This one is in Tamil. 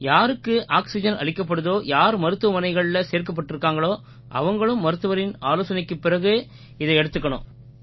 யாருக்கு ஆக்சிஜென் அளிக்கப்படுதோ யார் மருத்துவமனைகள்ல சேர்க்கப்பட்டிருக்காங்களோ அவங்களும் மருத்துவரின் ஆலோசனைக்குப் பிறகே இதை எடுத்துக்கணும்